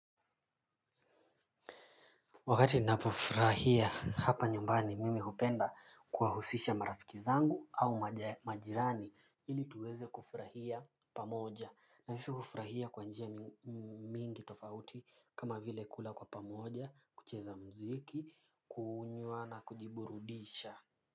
Wakati ninapofurahia hapa nyumbani mimi hupenda kuwahusisha marafiki zangu au majirani ili tuweze kufurahia pamoja na sisi hufurahia kwa njia mingi tofauti kama vile kula kwa pamoja kucheza muziki kunywa na kujiburudisha.